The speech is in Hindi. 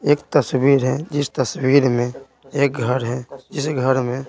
एक तस्वीर है जिस तस्वीर में एक घर है जिस घर में --